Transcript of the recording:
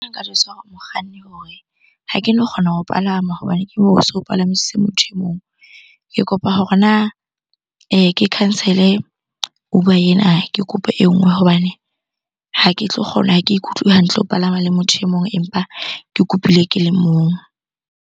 Nka jwetsa hore mokganni hore ha keno kgona ho palama hobane ke moo o so o palamisitse motho e mong. Ke kopa hore na ke cancel-e Uber ena, ke kopa e nngwe. Hobane ha ke tlo kgona, ha ke ikutlwe hantle ho palama le motho e mong empa ke kopile ke le mong.